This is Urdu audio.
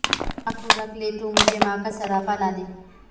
ماں کو رکھ لے تو مجھے ماں کا سراپا لا دے